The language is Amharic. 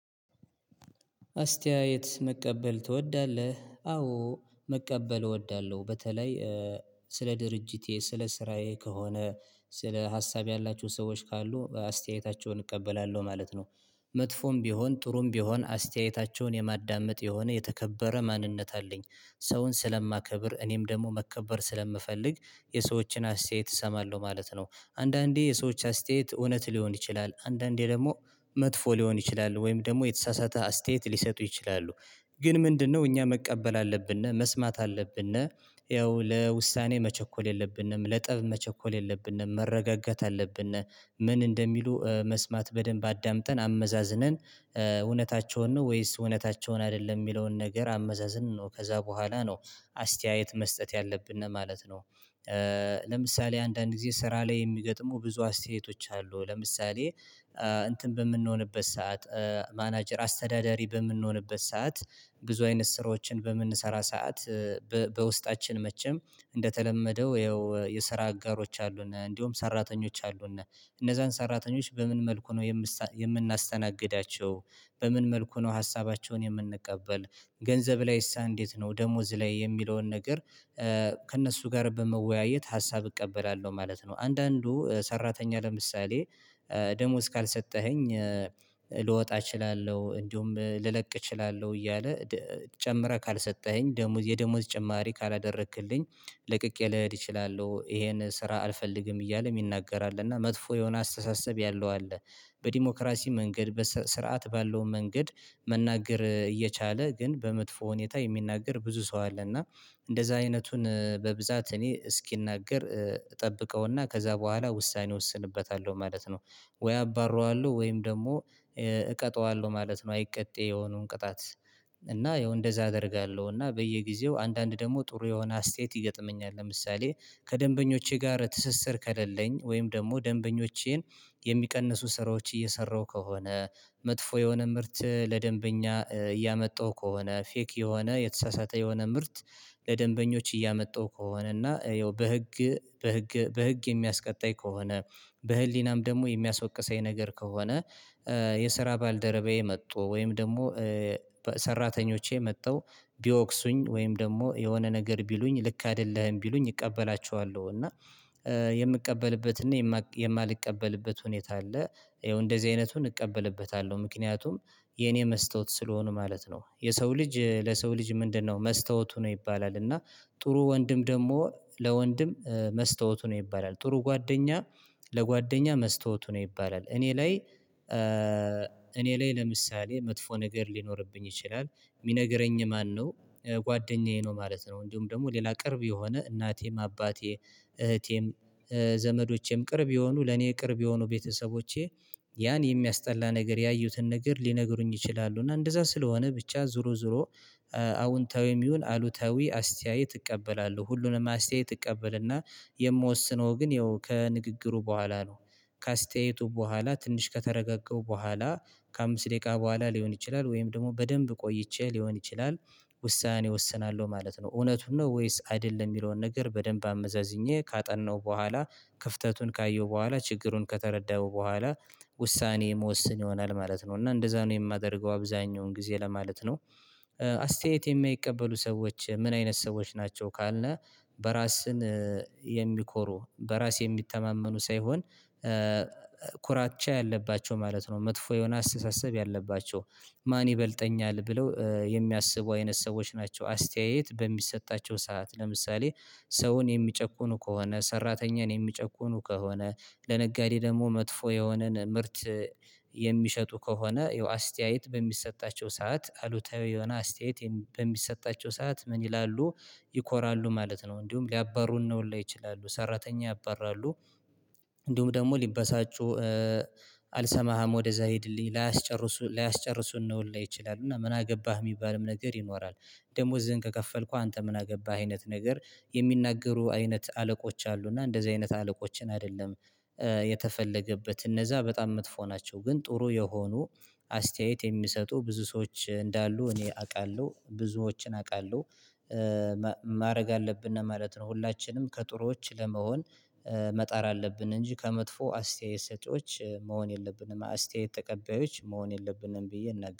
አስተያየት መቀበል ትወዳለህ አዎ መቀበል እወዳለሁ በተለይ ስለ ድርጅቴ ስለ ስራዬ ከሆነ ስለ ሀሳብ ያላቸው ሰዎች ካሉ አስተያየታቸውን እቀበላለሁ ማለት ነው። መጥፎም ቢሆን ጥሩም ቢሆን አስተያየታቸውን የማዳመጥ የሆነ የተከበረ ማንነት አለኝ። ሰውን ስለማከብር እኔም ደግሞ መከበር ስለምፈልግ የሰዎችን አስተያየት እሰማለሁ ማለት ነው። አንዳንዴ የሰዎች አስተያየት እውነት ሊሆን ይችላል አንዳንዴ ደግሞ መጥፎ ሊሆን ይችላል ወይም ደግሞ የተሳሳተ አስተያየት ሊሰጡ ይችላሉ። ግን ምንድነው እኛ መቀበል አለብን መስማት አለብን? ይኸው ለውሳኔ መቸኮል የለብንም ለጥብ መቸኮል የለብንም መረጋጋት አለብን። ምን እንደሚሉ መስማት በደንብ አዳምጠን አመዛዝነን እውነታቸውን ነው ወይስ እውነታቸውን አይደለም የሚለውን ነገር አመዛዝን ነው ከዛ በኋላ ነው። አስተያየት መስጠት ያለብን ነው ማለት ነው። ለምሳሌ አንዳንድ ጊዜ ስራ ላይ የሚገጥመው ብዙ አስተያየቶች አሉ። ለምሳሌ እንትን በምንሆንበት ሰዓት ማናጀር አስተዳዳሪ በምንሆንበት ሰዓት ብዙ አይነት ስራዎችን በምንሰራ ሰዓት በውስጣችን መቼም እንደተለመደው ይኸው የስራ አጋሮች አሉና እንዲሁም ሰራተኞች አሉን እነዛን ሰራተኞች በምን መልኩ ነው የምናስተናግዳቸው? በምን መልኩ ነው ሀሳባቸውን የምንቀበል? ገንዘብ ላይሳ እንዴት ነው ደሞዝ ላይ የሚለውን ነገር ከእነሱ ጋር በመወያየት ሀሳብ እቀበላለሁ ማለት ነው። አንዳንዱ ሰራተኛ ለምሳሌ ደሞዝ ካልሰጠኸኝ ልወጣ እችላለሁ እንዲሁም ልለቅ እችላለሁ እያለ ጨምረህ ካልሰጠኸኝ ደሞዝ የደሞዝ ጭማሪ ካላደረክልኝ ለቅቄ ልሄድ እችላለሁ ይሄን ስራ አልፈልግም እያለ የሚናገር አለ እና መጥፎ የሆነ አስተሳሰብ ያለው አለ። በዲሞክራሲ መንገድ በስርዓት ባለው መንገድ መናገር እየቻለ ግን በመጥፎ ሁኔታ የሚናገር ብዙ ሰው አለ እና እንደዛ አይነቱን በብዛት እኔ እስኪናገር ጠብቀውና ከዛ በኋላ ውሳኔ እወስንበታለሁ ማለት ነው። ወይ አባርረዋለሁ ወይም ደግሞ እቀጣዋለሁ ማለት ነው። አይቀጤ የሆነውን ቅጣት እና እንደዛ አደርጋለሁ እና በየጊዜው አንዳንድ ደግሞ ጥሩ የሆነ አስተያየት ይገጥመኛል። ለምሳሌ ከደንበኞቼ ጋር ትስስር ከሌለኝ ወይም ደግሞ ደንበኞቼን የሚቀንሱ ስራዎች እየሰራሁ ከሆነ መጥፎ የሆነ ምርት ለደንበኛ እያመጣሁ ከሆነ ፌክ የሆነ የተሳሳተ የሆነ ምርት ለደንበኞች እያመጣው ከሆነ እና ያው በህግ በህግ በህግ የሚያስቀጣኝ ከሆነ በህሊናም ደግሞ የሚያስወቅሰኝ ነገር ከሆነ የስራ ባልደረባዬ መጥቶ ወይም ደግሞ ሰራተኞቼ መጥተው ቢወቅሱኝ ወይም ደግሞ የሆነ ነገር ቢሉኝ ልክ አይደለህም ቢሉኝ እቀበላቸዋለሁ። እና የምቀበልበትና የማልቀበልበት ሁኔታ አለ። ይኸው እንደዚህ አይነቱን እቀበልበታለሁ ምክንያቱም የኔ መስታወት ስለሆኑ ማለት ነው። የሰው ልጅ ለሰው ልጅ ምንድነው መስታወቱ ነው ይባላል እና ጥሩ ወንድም ደግሞ ለወንድም መስታወቱ ነው ይባላል ጥሩ ጓደኛ ለጓደኛ መስታወቱ ነው ይባላል። እኔ ላይ እኔ ላይ ለምሳሌ መጥፎ ነገር ሊኖርብኝ ይችላል ሚነግረኝ ማነው ጓደኛዬ ነው ማለት ነው። እንዲሁም ደግሞ ሌላ ቅርብ የሆነ እናቴም አባቴ እህቴም ዘመዶቼም ቅርብ የሆኑ ለኔ ቅርብ የሆኑ ቤተሰቦቼ ያን የሚያስጠላ ነገር ያዩትን ነገር ሊነግሩኝ ይችላሉ እና እንደዛ ስለሆነ ብቻ ዞሮ ዞሮ አዎንታዊም ይሁን አሉታዊ አስተያየት እቀበላለሁ። ሁሉንም አስተያየት እቀበልና የምወስነው ግን ያው ከንግግሩ በኋላ ነው። ከአስተያየቱ በኋላ ትንሽ ከተረጋጋው በኋላ ከአምስት ደቂቃ በኋላ ሊሆን ይችላል ወይም ደግሞ በደንብ ቆይቼ ሊሆን ይችላል ውሳኔ እወስናለሁ ማለት ነው። እውነቱን ነው ወይስ አይደለም የሚለውን ነገር በደንብ አመዛዝኜ ካጠናሁ በኋላ ክፍተቱን ካየሁ በኋላ ችግሩን ከተረዳሁ በኋላ ውሳኔ የምወስን ይሆናል ማለት ነው እና እንደዛ ነው የማደርገው አብዛኛውን ጊዜ ለማለት ነው። አስተያየት የማይቀበሉ ሰዎች ምን አይነት ሰዎች ናቸው ካልነ? በራስን የሚኮሩ በራስ የሚተማመኑ ሳይሆን ኩራቻ ያለባቸው ማለት ነው። መጥፎ የሆነ አስተሳሰብ ያለባቸው ማን ይበልጠኛል ብለው የሚያስቡ አይነት ሰዎች ናቸው። አስተያየት በሚሰጣቸው ሰዓት ለምሳሌ ሰውን የሚጨኩቁኑ ከሆነ ሰራተኛን የሚጨቁኑ ከሆነ ለነጋዴ ደግሞ መጥፎ የሆነን ምርት ከሆነ የያው አስተያየት በሚሰጣቸው ሰዓት አሉታዊ የሆነ አስተያየት በሚሰጣቸው ሰዓት ምን ይላሉ? ይኮራሉ ማለት ነው። እንዲሁም ሊያባርሩን ሁላ ይችላሉ ሰራተኛ ያበራሉ እንዲሁም ደግሞ ሊበሳጩ አልሰማህም ወደዛ ሂድልኝ ላያስጨርሱ ላያስጨርሱን ነው ሁላ ይችላል እና ምን አገባህ የሚባልም ነገር ይኖራል። ደሞዝህን ከከፈልኩ አንተ ምን አገባህ አይነት ነገር የሚናገሩ አይነት አለቆች አሉ። እና እንደዚህ አይነት አለቆችን አይደለም የተፈለገበት እነዛ በጣም መጥፎ ናቸው። ግን ጥሩ የሆኑ አስተያየት የሚሰጡ ብዙ ሰዎች እንዳሉ እኔ አውቃለሁ ብዙዎችን አውቃለሁ። ማድረግ አለብን ማለት ነው ሁላችንም ከጥሩዎች ለመሆን መጣር አለብን እንጂ ከመጥፎ አስተያየት ሰጪዎች መሆን የለብንም። አስተያየት ተቀባዮች መሆን የለብንም ብዬ እናገኛለሁ